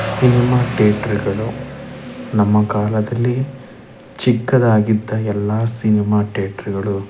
cinema theatre ಗಳು ನಮ್ಮ ಕಾಲದಲ್ಲಿ ಚಿಕ್ಕದ್ದಾಗಿದ್ದ ಎಲ್ಲ ಸಿನಿಮ ಥೇಟ್ರು ಗಳು --